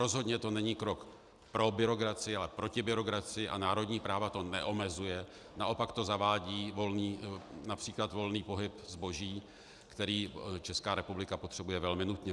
Rozhodně to není krok pro byrokracii, ale proti byrokracii a národní práva to neomezuje, naopak to zavádí například volný pohyb zboží, který Česká republika potřebuje velmi nutně.